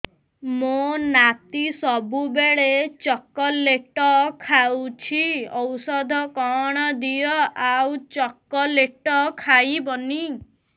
ମୋ ନାତି ସବୁବେଳେ ଚକଲେଟ ଖାଉଛି ଔଷଧ କଣ ଦିଅ ଆଉ ଚକଲେଟ ଖାଇବନି